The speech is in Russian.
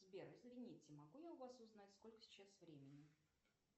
сбер извините могу я у вас узнать сколько сейчас времени